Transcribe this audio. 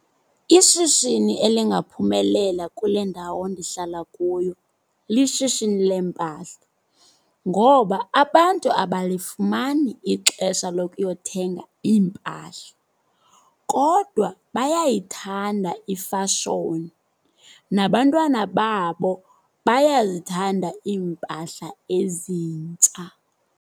Ishishini elingaphumelela kule ndawo ndihlala kuyo lishishini lempahla. Ngoba abantu abalifumani ixesha lokuyothenga iimpahla kodwa bayayithanda ifashoni, nabantwana babo bayazithanda iimpahla ezintsha.